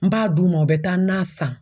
N b'a d'u ma u bɛ taa na san.